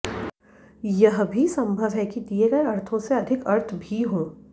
यह भी सम्भव है कि दिये गये अर्थों से अधिक अर्थ भी हों